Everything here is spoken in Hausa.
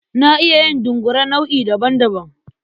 Na iya yin dungure nau'i daban-daban.